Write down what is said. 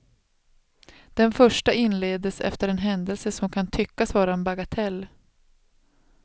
Den första inleddes efter en händelse, som kan tyckas vara en bagatell.